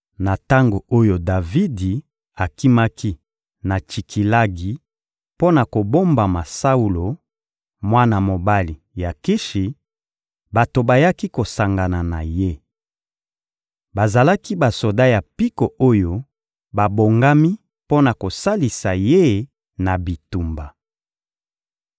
Na tango oyo Davidi akimaki na Tsikilagi mpo na kobombama Saulo, mwana mobali ya Kishi, bato bayaki kosangana na ye. Bazalaki basoda ya mpiko oyo babongami mpo na kosalisa ye na bitumba.